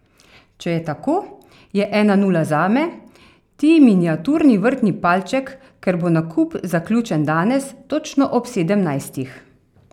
Če je tako, je ena nula zame, ti miniaturni vrtni palček, ker bo nakup zaključen danes, točno ob sedemnajstih.